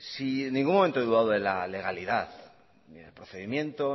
si en ningún momento he dudado de la legalidad y ni del procedimiento